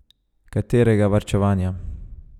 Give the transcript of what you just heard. Katerega varčevanja?